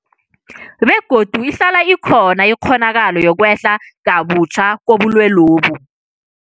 Begodu ihlala ikhona ikghonakalo yokwehla kabutjha kobulwelobu.